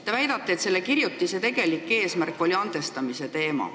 Te väidate, et selle kirjutise tegelik eesmärk oli üleskutse andestada.